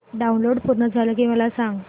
download पूर्ण झालं की मला सांग